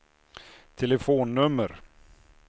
telefonnummer